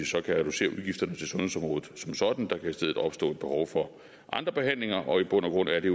så kan reducere udgifterne til sundhedsområdet som sådan der kan i stedet opstå behov for andre behandlinger og i bund og grund er det